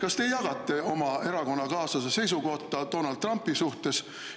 Kas te jagate oma erakonnakaaslase seisukohta Donald Trumpi suhtes?